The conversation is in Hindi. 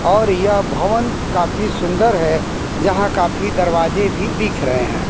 और यह भवन काफी सुंदर है जहां काफी दरवाजे भी दिख रहे हैं।